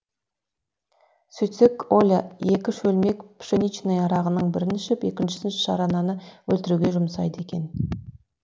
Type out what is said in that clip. сөйтсек оля екі шөлмек пшеничный арағының бірін ішіп екіншісін шарананы өлтіруге жұмсайды екен